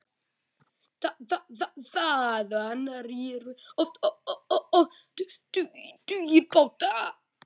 Þaðan réru oft tugir báta.